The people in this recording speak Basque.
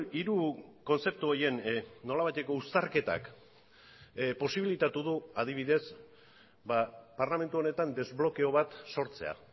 hiru kontzeptu horien nolabaiteko uztarketak posibilitatu du adibidez parlamentu honetan desblokeo bat sortzea